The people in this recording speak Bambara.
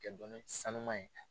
Kɛ dɔnni sanuma ye.